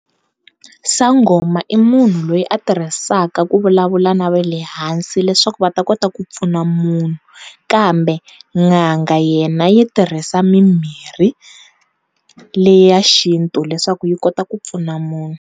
Sangoma i munhu loyi a tirhisaka ku vulavula na va le hansi leswaku va ta kota ku pfuna munhu, kambe n'anga yena yi tirhisa mimirhi leya xintu leswaku yi kota ku pfuna munhu.